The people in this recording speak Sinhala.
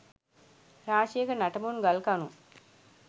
රාශියක නටබුන් ගල්කණු